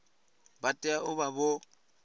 vha tea u vha vho